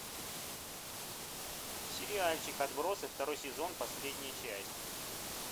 сериальчик отбросы второй сезон последняя часть